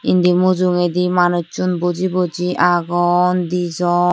indi mujungedi manussun boji boji agon dijon.